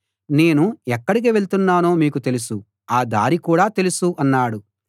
నేను ఎక్కడికి వెళ్తున్నానో మీకు తెలుసు ఆ దారి కూడా తెలుసు అన్నాడు